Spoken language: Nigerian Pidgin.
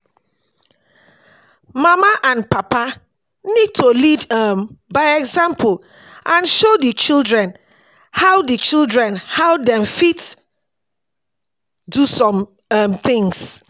Mama and papa need to lead um by example and show di children how di children how dem fit do some um things